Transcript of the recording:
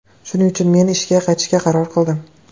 Shuning uchun men ishga qaytishga qaror qildim.